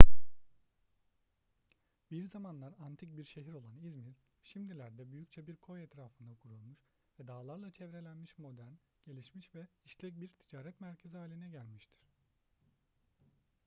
bir zamanlar antik bir şehir olan i̇zmir şimdilerde büyükçe bir koy etrafında kurulmuş ve dağlarla çevrelenmiş modern gelişmiş ve işlek bir ticaret merkezi haline gelmiştir